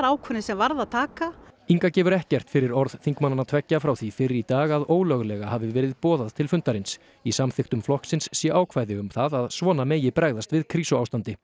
ákvörðun sem varð að taka Inga gefur ekkert fyrir orð þingmannanna tveggja frá því fyrr í dag að ólöglega hafi verið boðað til fundarins í samþykktum flokksins sé ákvæði um það að svona megi bregðast við krísuástandi